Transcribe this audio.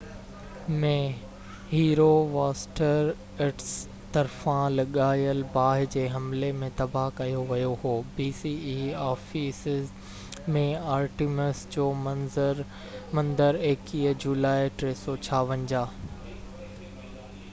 Ephesus ۾ Artemis جو مندر 21 جولائي 356 bce ۾ هيرواسٽراٽس طرفان لڳايل باه جي حملي ۾ تباه ڪيو ويو هو